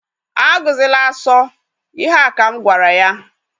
A gụzịla asọ! Ihe a ka m gwara ya.